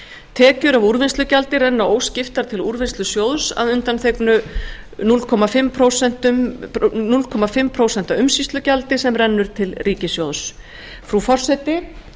tekjur af úrvinnslugjaldi renna óskiptar til úrvinnslusjóðs að undndanteknu hálft prósent umsýslugjaldi sem rennur til ríkissjóðs frú forseti